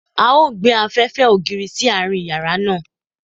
A o gbe afẹfẹ odi si aarin yara naa